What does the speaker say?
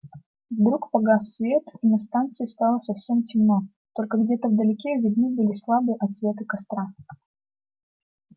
вдруг погас свет и на станции стало совсем темно только где-то вдалеке видны были слабые отсветы костра